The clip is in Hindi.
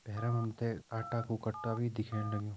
भैरम हम ते आटा कु कट्टा भी दिखेण लग्युं।